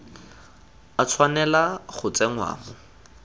a tshwanela go tsenngwa mo